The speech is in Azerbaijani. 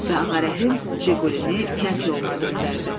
Və Ağa Rəhim Jiqulini kənd yoluna döndərdi.